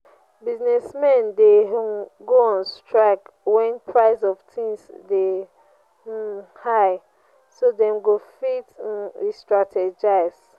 business men de um go on strike when price of things de um high so dem go fit um restrategize